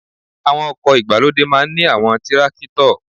Àwọn oko ìgbàlódé máa ń ní àwọn tírákítọ̀